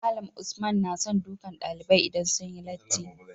Malam Usman nason dukan ɗalibai idan sunyi latti